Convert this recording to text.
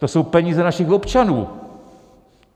To jsou peníze našich občanů.